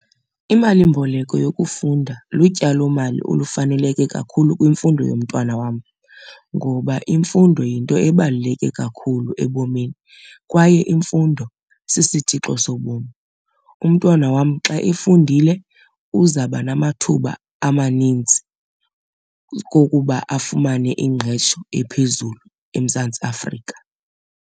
Imalimboleko yokufunda lutyalomali olufaneleke kakhulu kwimfundo yomntwana wam ngoba imfundo yinto ebaluleke kakhulu ebomini kwaye imfundo sisitshixo sobomi. Umntwana wam xa efundile uzawuba namathuba amaninzi kokuba afumane ingqesho ephezulu eMzantsi Afrika.